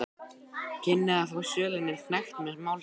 kynni að fá sölunni hnekkt með málsókn.